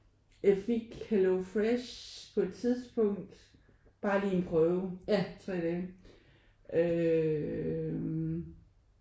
Jeg fik Hello Fresh på et tidspunkt bare lige en prøve tre dage øh